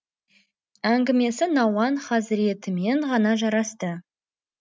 әңгімесі науан хазіретімен ғана жарасты